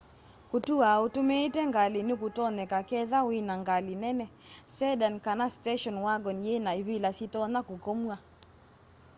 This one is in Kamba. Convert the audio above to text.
kũtũa ũtũmĩĩte ngalĩ nĩkũtonyeka ketha wĩna ngalĩ nene sedan kana station wagon yĩna ĩvĩla syĩtonya kũkomwa